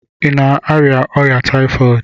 Ị na-arịa ọrịa taifọdụ?